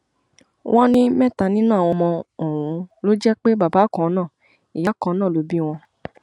wọn ní mẹta nínú àwọn ọmọ ọhún ló jẹ pé bàbá kan náà ìyá kan náà ló bí wọn